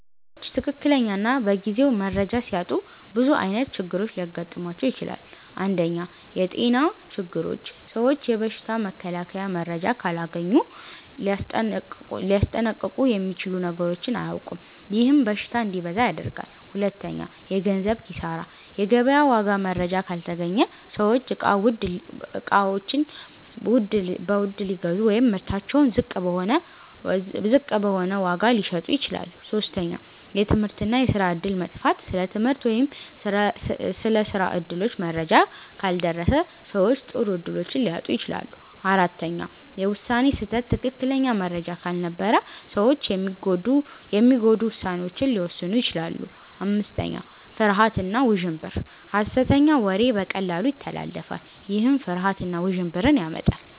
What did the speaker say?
ሰዎች ትክክለኛ እና በጊዜው መረጃ ሲያጡ ብዙ ዓይነት ችግሮች ሊገጥሟቸው ይችላሉ። 1. የጤና ችግሮች ሰዎች የበሽታ መከላከያ መረጃ ካላገኙ ሊያስጠንቀቁ የሚችሉ ነገሮችን አያውቁም፤ ይህም በሽታ እንዲበዛ ያደርጋል። 2. የገንዘብ ኪሳራ የገበያ ዋጋ መረጃ ካልተገኘ ሰዎች እቃ ውድ ሊገዙ ወይም ምርታቸውን ዝቅ በሆነ ዋጋ ሊሸጡ ይችላሉ። 3. የትምህርት እና የስራ እድል መጥፋት ስለ ትምህርት ወይም ስራ እድሎች መረጃ ካልደረሰ ሰዎች ጥሩ እድሎችን ሊያጡ ይችላሉ። 4. የውሳኔ ስህተት ትክክለኛ መረጃ ካልነበረ ሰዎች የሚጎዱ ውሳኔዎችን ሊወስኑ ይችላሉ። 5. ፍርሃት እና ውዥንብር ሐሰተኛ ወሬ በቀላሉ ይተላለፋል፤ ይህም ፍርሃት እና ውዥንብር ያመጣል።